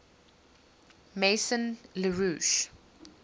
maison la roche